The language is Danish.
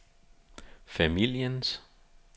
familiens